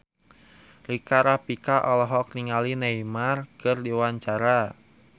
Rika Rafika olohok ningali Neymar keur diwawancara